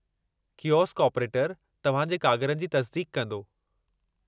Kiosk ऑपरेटरु तव्हां जे कागरनि जी तस्दीक़ कंदो।